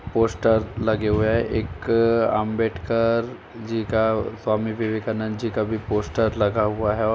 Poster लगे हुए हैं एक अंबेडकर जी का स्वामी विवेकानद जी का भी पोस्टर लगा हुआ है ।